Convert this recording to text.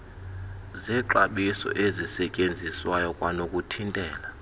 zexabiso ezisetyenziswayo kwanokuthintela